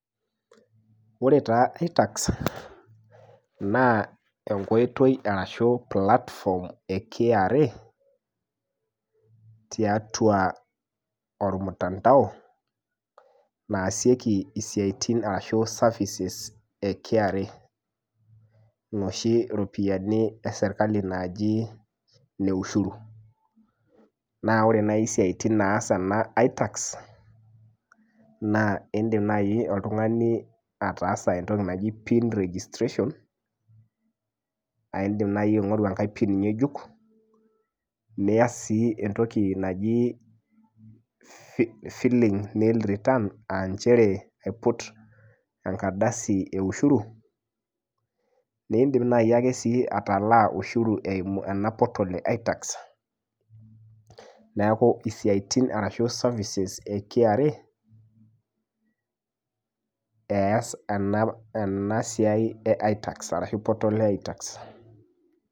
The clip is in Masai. Ore taa itax naa enkoitoi arashu platform e KRA tiatua ormtandao naasieki isiaitin arashu services e KRA noshi ropiyiani esirkali naaji ine ushuru naa ore naaji isiaitin naas itax naa indim naaji oltung'ani ataasa entoki naji pin registration aindim naaji aing'oru enkae pin ng'ejuk niyas sii entoki naji filing nil returns anchere aiput enkardasi e ushuru neindim naaji ake sii atalaa ushuru eimu ena portal e itax neku isiaitin arashu services e KRA eas ena ena siai e itax arashu portal e itax.